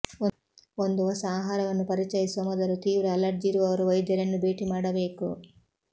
ಒಂದು ಹೊಸ ಆಹಾರವನ್ನು ಪರಿಚಯಿಸುವ ಮೊದಲು ತೀವ್ರ ಅಲರ್ಜಿ ಇರುವವರು ವೈದ್ಯರನ್ನು ಭೇಟಿ ಮಾಡಬೇಕು